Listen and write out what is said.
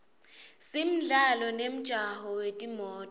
simdlalo nemjaho wetimoto